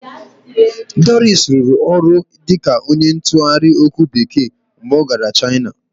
Doris rụrụ ọrụ dịka onye ntụgharị okwu Bekee mgbe ọ gara China